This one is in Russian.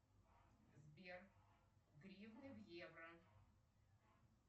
сбер гривны в евро